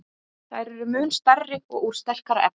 Þær eru mun stærri og úr sterkara efni.